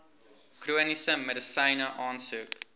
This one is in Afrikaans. chroniese medisyne aansoek